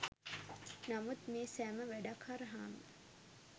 නමුත් මේ සෑම වැඩක් හරහාම